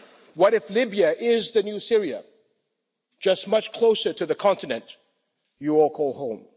What if Libya is the new Syria, just much closer to the continent you all call home?